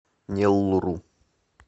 неллуру